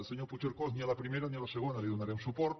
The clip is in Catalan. senyor puigcercós ni a la primera ni a la segona hi donarem suport